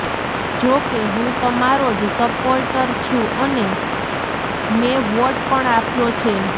જો કે હું તમારો જ સપોર્ટર છુ અને મેં વોટ પણ આપ્યો છે